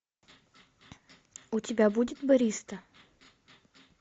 у тебя будет бариста